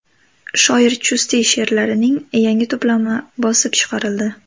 Shoir Chustiy she’rlarining yangi to‘plami bosib chiqarildi.